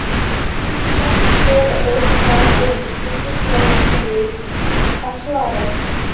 Amma stakk sér á bólakaf ofan í skúffu til að losna við að svara.